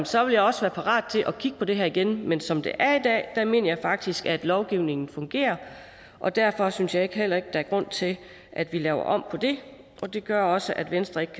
så vil jeg også være parat til at kigge på det her igen men som det er i dag mener jeg faktisk at lovgivningen fungerer og derfor synes jeg heller ikke der er grund til at vi laver om på det det gør også at venstre ikke